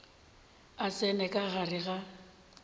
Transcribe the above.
a tsena ka gare ga